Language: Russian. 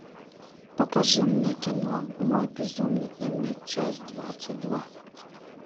покажи мне кино мой безумный дневник часть двадцать два